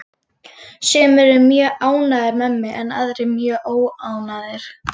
Sumir eru mjög ánægðir með mig en aðrir mjög óánægðir.